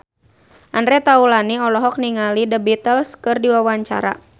Andre Taulany olohok ningali The Beatles keur diwawancara